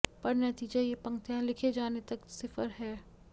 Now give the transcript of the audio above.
पर नतीजा ये पंक्तियां लिखे जाने तक सिफ़र है